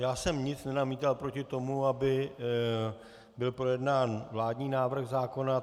Já jsem nic nenamítal proti tomu, aby byl projednán vládní návrh zákona.